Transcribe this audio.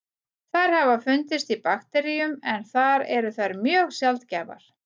Þær hafa fundist í bakteríum en þar eru þær mjög sjaldgæfar.